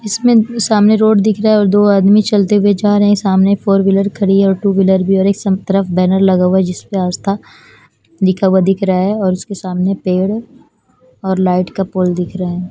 इसमें सामने रोड दिख रहा है और दो आदमी चलते हुए जा रहे है सामने फोर विलर खड़ी है और टू विलर भी और सम तरफ बैनर लगा हुआ जिसपे दिख रहा है और उसके सामने पेड़ है और लाइट का पोल दिख रहा है।